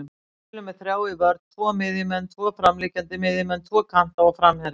Við spilum með þrjá í vörn, tvo miðjumenn, tvo framliggjandi miðjumenn, tvo kanta og framherja.